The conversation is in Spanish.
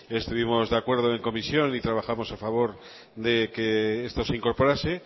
estuvimos de acuerdo en la comisión y trabajamos a favor de que esto se incorporase